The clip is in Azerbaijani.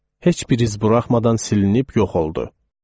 Heç bir iz buraxmadan silinib yox oldu.